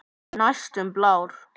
Næstum blár.